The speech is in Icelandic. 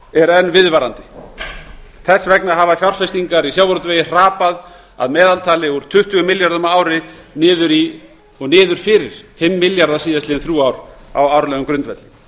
er enn viðvarandi þess vegna hafa fjárfestingar í sjávarútvegi hrapað að meðaltali úr tuttugu milljörðum á ári niður fyrir fimm milljarða síðastliðin þrjú ár á árlegum grundvelli